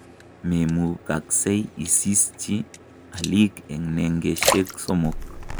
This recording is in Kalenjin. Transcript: Memukaksei isischi aliik eng nengeshek somok